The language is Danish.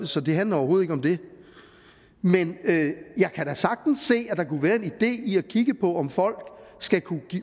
så det handler overhovedet ikke om det men jeg kan da sagtens se at der kunne være en idé i at kigge på om folk skal kunne